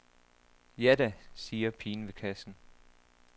Ja da, siger pigen ved kassen.